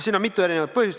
Siin on mitu erinevat põhjust.